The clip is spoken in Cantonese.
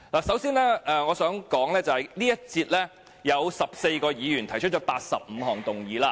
首先我想指出，在這項辯論中，有14位議員提出85項修正案。